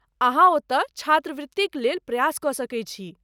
अहाँ ओतय, छात्रवृतिक लेल प्रयास कऽ सकैत छी।